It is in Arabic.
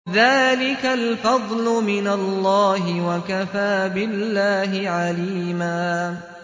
ذَٰلِكَ الْفَضْلُ مِنَ اللَّهِ ۚ وَكَفَىٰ بِاللَّهِ عَلِيمًا